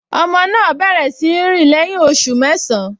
Ọmọ náà bẹ̀rẹ̀ sí í rìn lẹ́yìn oṣù mẹ́sàn-án